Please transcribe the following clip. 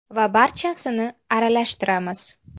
Va barchasini aralashtiramiz.